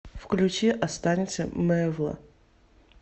включи останься мэвла